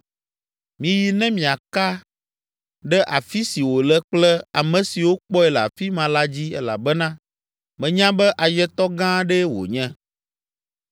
Miyi ne miaka ɖe afi si wòle kple ame siwo kpɔe le afi ma la dzi elabena menya be ayetɔ gã aɖee wònye.